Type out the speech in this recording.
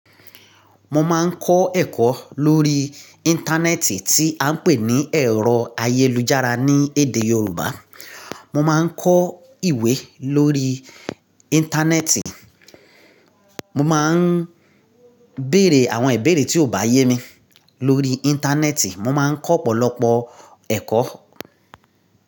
Mo máa ń kọ́ ẹ̀kọ́ lórí Íńtánẹ́ẹ̀tì tí à ń pè ní ẹ̀rọ ayélujára ní èdè Yorùbá. Mo máa ń kọ ìwé lórí Íńtánẹ́ẹ̀tì, mo má ń béèrè àwọn ìbéèrè tí ò bá yé mi lórí Íńtánẹ́ẹ̀tì, mo má ń kọ́ ọ̀pọ̀lọpọ̀ ẹ̀kọ́